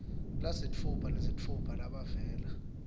lasitfupha nesitfupha labavela